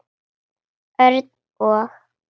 Örn og